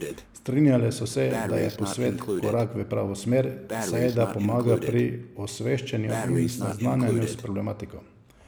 Strinjale so se, da je posvet korak v pravo smer, saj da pomaga pri osveščanju in seznanjanju s problematiko.